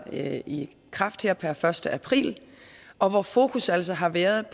i kraft her per første april og hvor fokus altså har været